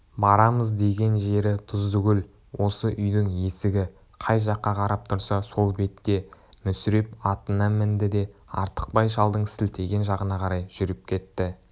барамыз деген жері тұздыкөл осы үйдің есігі қай жаққа қарап тұрса сол бетте мүсіреп атына мінді де артықбай шалдың сілтеген жағына қарай жүріп кетті